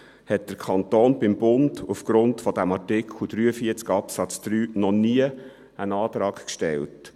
Doch hat der Kanton beim Bund aufgrund dieses Artikel 43 Absatz 3 noch nie einen Antrag gestellt.